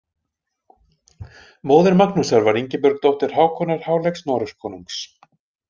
Móðir Magnúsar var Ingibjörg dóttir Hákonar háleggs Noregskonungs.